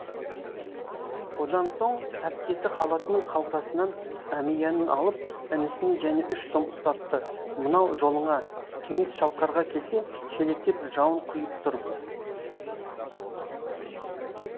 одан соң әпкесі халатының қалтасынан әмиянын алып інісіне және үш сом ұстатты мынау жолыңа кеңес шалқарға келсе шелектеп жауын құйып тұр